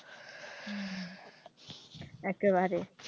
একেবারে